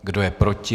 Kdo je proti?